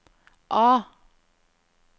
A